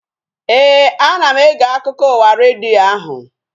Éè, ana m ege akụkọ ụwa redio ahu